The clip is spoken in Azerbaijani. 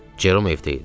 Cerom evdə idi.